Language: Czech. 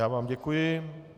Já vám děkuji.